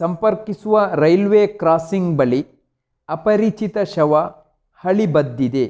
ಸಂಪರ್ಕಿಸುವ railway crossing ಬಳಿ ಅಪರಿಚಿತ ಶವ ಹಳಿ ಬದ್ದಿದೆ